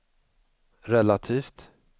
relativt